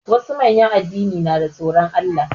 Wasu manyan addini na da tsoron Allah.